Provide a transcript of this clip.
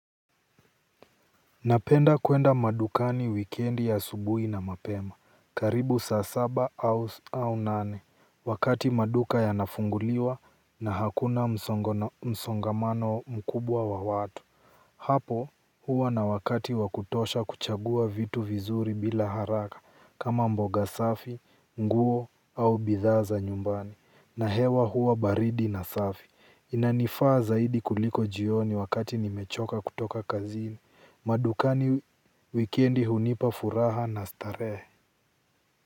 Napenda kuenda madukani wikendi asubuhi na mapema. Karibu saa saba au nane. Wakati maduka yanafunguliwa na hakuna msongamano mkubwa wa watu. Hapo huwa na wakati wa kutosha kuchagua vitu vizuri bila haraka kama mboga safi, nguo au bidhaa za nyumbani. Na hewa huwa baridi na safi. Inanifaa zaidi kuliko jioni wakati nimechoka kutoka kazini. Madukani wikendi hunipa furaha na starehe.